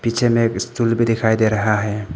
पीछे में एक स्टूल भी दिखाई दे रहा है।